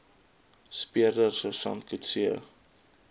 speurder sersant coetzee